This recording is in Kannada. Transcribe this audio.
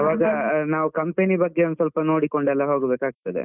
ಅವಾಗ ನಾವ್ company ಬಗ್ಗೆ ಒಂದ್ ಸ್ವಲ್ಪ ಎಲ್ಲ ನೋಡಿಕೊಂಡು ಹೋಗ್ಬೇಕಾಗ್ತದೆ.